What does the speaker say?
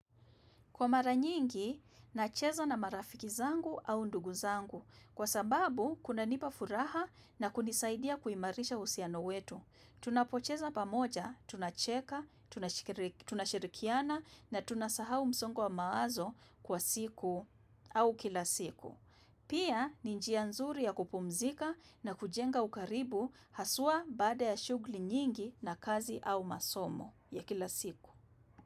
Kwa mara nyingi, nacheza na marafiki zangu au ndugu zangu. Kwa sababu, kunanipa furaha na kunisaidia kuimarisha uhusiano wetu. Tunapocheza pamoja, tunacheka, tunashirikiana na tunasahau msongo wa mawazo kwa siku au kila siku. Pia, ni njia nzuri ya kupumzika na kujenga ukaribu haswa baada ya shughuli nyingi na kazi au masomo ya kila siku.